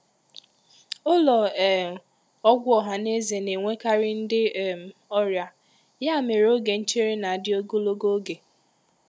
Ụlọ um ọgwụ ọha na eze na-enwekarị ndị um ọrịa, ya mere oge nchere na-adị ogologo oge.